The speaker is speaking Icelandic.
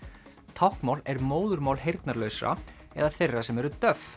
táknmál er móðurmál heyrnarlausra eða þeirra sem eru